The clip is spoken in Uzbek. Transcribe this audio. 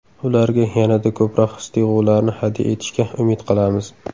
Ularga yanada ko‘proq his-tuyg‘ularni hadya etishga umid qilamiz.